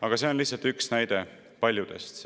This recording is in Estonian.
Aga see on lihtsalt üks näide paljudest.